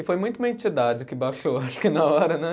E foi muito uma entidade que baixou, acho que na hora, né?